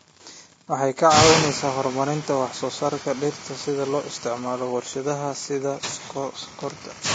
Waxay ka caawisaa horumarinta wax soo saarka dhirta loo isticmaalo warshadaha sida sonkorta.